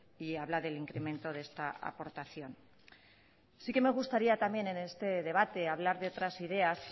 y habla del incremento de esta aportación sí que me gustaría también en este debate hablar de otras ideas